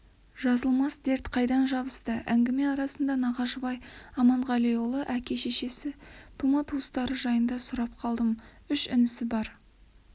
жазылмас дерт қайдан жабысты әңгіме арасында нағашыбай аманғалиұлының әке-шешесі тума-туыстары жайында сұрап қалдым үш інісі бір